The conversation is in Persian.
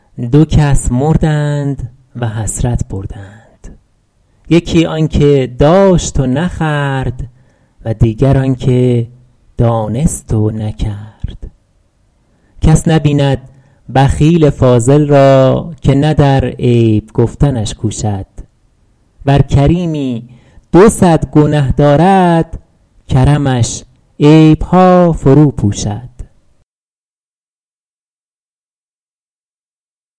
دو کس مردند و حسرت بردند یکی آن که داشت و نخورد و دیگر آن که دانست و نکرد کس نبیند بخیل فاضل را که نه در عیب گفتنش کوشد ور کریمی دو صد گنه دارد کرمش عیبها فرو پوشد